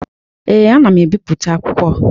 Ee, m na-ebipụta akwụkwọ.